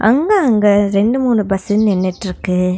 அங்க அங்க ரெண்டு மூணு பஸ்சு நின்னுட்ருக்கு.